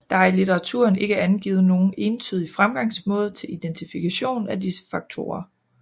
Der er i litteraturen ikke angivet nogen entydig fremgangsmåde til identifikation af disse faktorer